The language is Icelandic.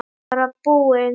Bara búinn.